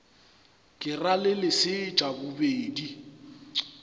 ke ra le leset bobedi